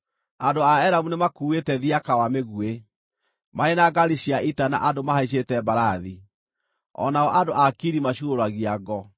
Andũ a Elamu nĩmakuuĩte thiaka wa mĩguĩ, marĩ na ngaari cia ita na andũ mahaicĩte mbarathi; o nao andũ a Kiri macuurũragia ngo.